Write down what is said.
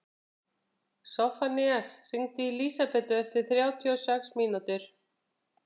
Soffanías, hringdu í Lísabetu eftir þrjátíu og sex mínútur.